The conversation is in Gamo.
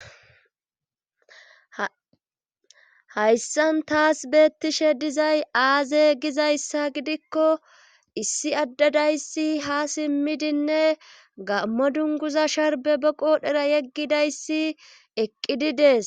Hayssan taas beettishe dizay aaze gizayssa gidikko issi addadayssi ha simmidinne gammo dunguza sharbe be qoodhera yeggidayssi eqqidi dees